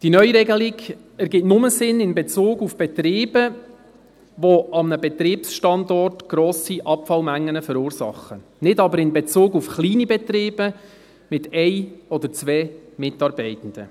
Die neue Regelung ergibt nur Sinn in Bezug auf Betriebe, die an einem Betriebsstandort grosse Abfallmengen verursachen, nicht aber in Bezug auf kleine Betriebe mit einem oder zwei Mitarbeitenden.